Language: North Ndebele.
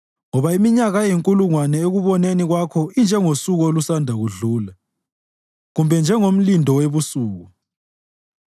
Ngoba iminyaka eyinkulungwane ekuboneni kwakho injengosuku olusanda kudlula, kumbe njengomlindo webusuku.